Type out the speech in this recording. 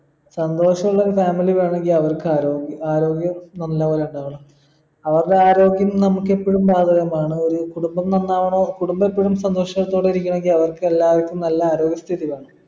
സന്തോഷുള്ളൊരു family വേണെങ്കി അവർക്ക് ആരോ ആരോഗ്യം നന്നായാലിണ്ടാവണം അവർടെ ആരോഗ്യം നമുക്കെപ്പോഴും ബാധകമാണ് ഒരു കുടുംബം നന്നാവണോ കുടുംബത്തിനും സന്തോഷത്തോടെ ഇരിക്കണെങ്കി അവർക്കെല്ലാവർക്കും നല്ല ആരോഗ്യ സ്ഥിതി വേണം